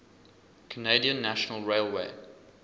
canadian national railway